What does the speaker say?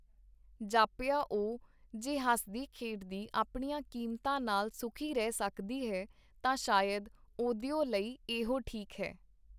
ਜਾਪਿਆ ਉਹ ਜੇ ਹੱਸਦੀ ਖੇਡਦੀ ਆਪਣੀਆਂ ਕੀਮਤਾਂ ਨਾਲ ਸੁਖੀ ਰਹਿ ਸਕਦੀ ਹੈ ਤਾਂ ਸ਼ਾਇਦ ਉਹਦਿਓ ਲਈ ਇਹੋ ਠੀਕ ਹੈ.